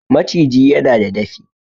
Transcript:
Maciji yana da dafi